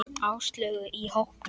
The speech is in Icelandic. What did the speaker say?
Áslaugu í hópnum.